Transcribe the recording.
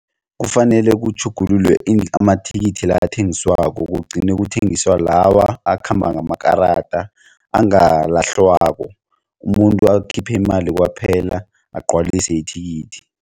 Kufanele kutjhugululwe amathikithi la ethengiswako kugcine kuthengiswa lawa akhamba ngamakarada angalahlwako umuntu akhiphe imali kwaphela agcwalise ithikithi.